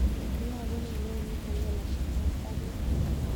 Iyogun anwanit nelelach nebo baruet